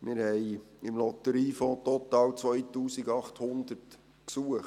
muss ich sagen: Wir haben im Lotteriefonds total 2800 Gesuche.